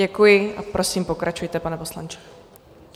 Děkuji a prosím pokračujte, pane poslanče.